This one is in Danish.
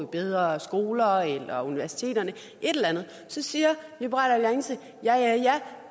bedre skoler eller universiteterne et eller andet så siger liberal alliance ja ja